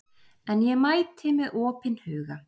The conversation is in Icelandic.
En ég mæti með opinn huga